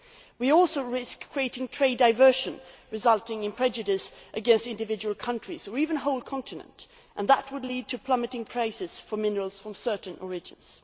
We also risk creating trade diversion, resulting in prejudice against individual countries, or even the whole continent, and that would lead to plummeting prices for minerals from certain origins.